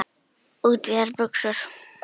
Útvíðar buxur.